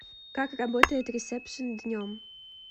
как работает ресепшен днем